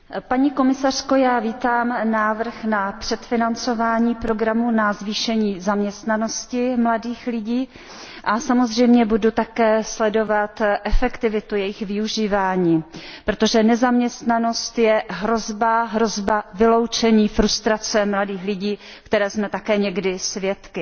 Paní komisařko, já vítám návrh na předfinancování programu na zvýšení zaměstnanosti mladých lidí a samozřejmě budu také sledovat efektivitu jeho využívání, protože nezaměstnanost je hrozba, hrozba vyloučení, frustrace mladých lidí, které jsme také někdy svědky.